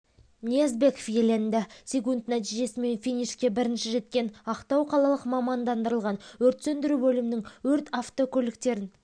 ниязбеков иеленді секунд нәтижесімен финишке бірінші жеткен ақтау қалалық мамандандырылған өрт сөндіру бөлімінің өрт автокөліктерін